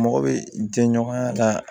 Mɔgɔ bɛ jɛɲɔgɔnya la